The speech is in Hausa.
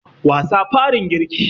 Wasa farin girki